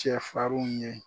Cɛ farinw ɲe